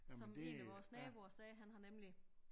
Som en af vores naboer sagde han har nemlig